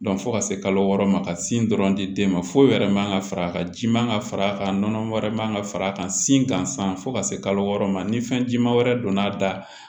fo ka se kalo wɔɔrɔ ma ka sin dɔrɔn di den ma foyi wɛrɛ man ka far'a kan ji man ka far'a kan nɔnɔ wɛrɛ man ka far'a kan sin kansan fo ka se kalo wɔɔrɔ ma ni fɛn jima wɛrɛ donn'a da